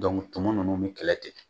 tumu ninnu bɛ kɛlɛ ten